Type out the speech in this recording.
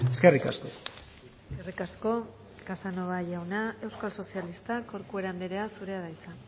eskerrik asko eskerrik asko casanova jauna euskal sozialistak corcuera andrea zurea da hitza